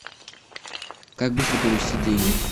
как быстро перевести деньги